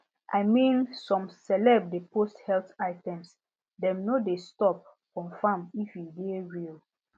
i mean some celeb de post health items dem no de stop confirm if e de real